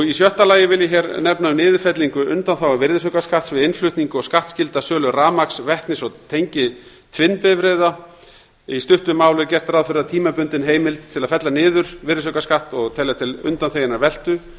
í sjötta lagi vil ég nefna niðurfellingu undanþágu virðisaukaskatts við innflutning og skattskylda sölu rafmagns vetnis eða tengiltvinnbifreiða í stuttu máli er gert ráð fyrir að tímabundin heimild til að fella niður virðisaukaskatt og telja til undanþeginnar veltu